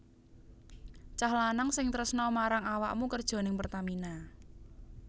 Cah lanang sing tresno marang awakmu kerjo ning Pertamina